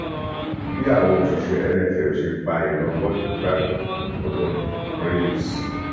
bí àwọn òṣìṣẹ nff ṣe pa ìran bọọlù gbígbà mí olórin creuse